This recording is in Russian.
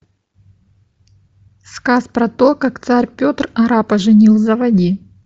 сказ про то как царь петр арапа женил заводи